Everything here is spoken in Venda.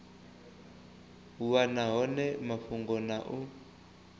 wana hone mafhungo na u